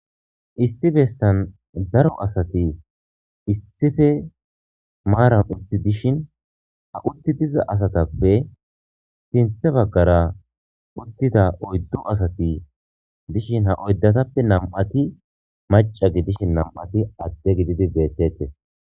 issi bessan daro asati issife maaran utti dishin ha utti diza asatappe sinthe baggara uttida oyddu asati dishin ha oyddatappe nam7ati maca gidishin nam7ati adde gididi beettete